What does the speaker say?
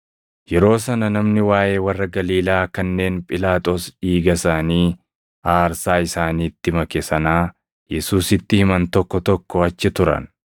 Yeroo sana namoonni waaʼee warra Galiilaa kanneen Phiilaaxoos dhiiga isaanii aarsaa isaaniitti make sanaa Yesuusitti himan tokko tokko achi turan.